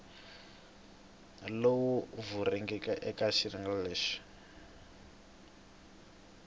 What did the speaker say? lowu vuriweke eke xiyenge xa